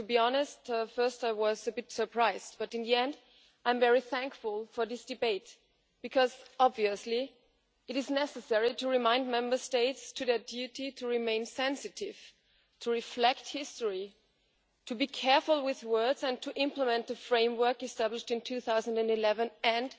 To be honest, at first I was a bit surprised, but in the end, I am very thankful for this debate because it is obviously necessary to remind Member States of their duty to remain sensitive, to reflect history, to be careful with words and to implement both the framework established in 2011 and